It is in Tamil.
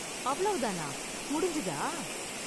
அவ்வளவு தானா, முடிஞ்சுதா?